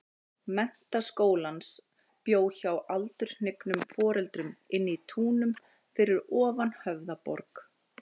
Menntaskólans, bjó hjá aldurhnignum foreldrum inní Túnum fyrir ofan Höfðaborg.